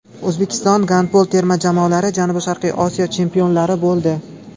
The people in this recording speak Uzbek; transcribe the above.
O‘zbekiston gandbol terma jamoalari Janubi-Sharqiy Osiyo chempionlari bo‘ldi.